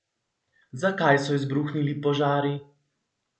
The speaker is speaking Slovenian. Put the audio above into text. Zakaj so izbruhnili požari?